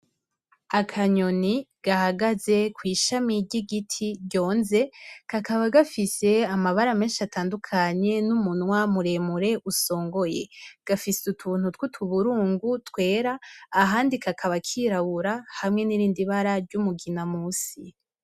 Akanyoni gahagaze kw'ishami ry'igiti ryonze kakaba gafise amabara menshi atandukanye n'umunwa muremure usongoye gafise utuntu tw'utu burungu twera ahandi kakaba kirawura hamwe n'irindi ibara ry'umugina musi.